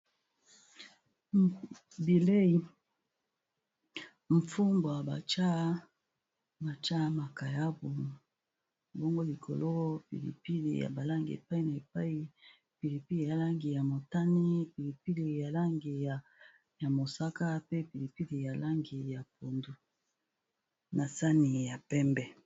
Bilei mfumbwa ba tia mwa makayabu bongo likolo pilipili ya ba langi epai na epai pilipili ya langi ya motane, pilipili ya langi ya mosaka, pe pilipili ya langi na sani ya pembe .